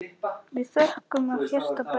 Við þökkum af hjarta bæði.